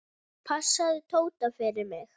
Passaðu Tóta fyrir mig.